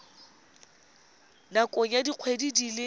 nakong ya dikgwedi di le